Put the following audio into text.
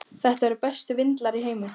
Þetta eru bestu vindlar í heimi.